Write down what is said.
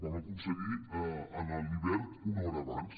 vam aconseguir a l’hivern una hora abans